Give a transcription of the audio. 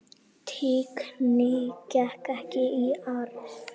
Tignin gekk ekki í arf.